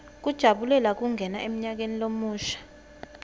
kujabulela kungena emnyakeni lomusha